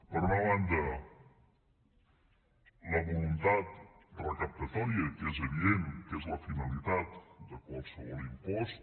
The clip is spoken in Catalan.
per una banda la voluntat recaptadora que és evident que és la finalitat de qualsevol impost